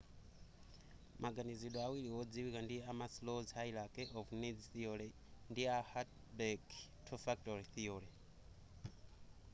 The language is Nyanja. maganizidwe awiri wodziwika ndi a maslows hierachy of needs theory ndi a hertzberg two factor theory